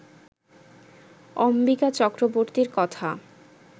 অম্বিকা চক্রবর্তীর কথা